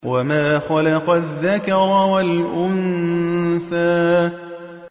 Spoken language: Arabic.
وَمَا خَلَقَ الذَّكَرَ وَالْأُنثَىٰ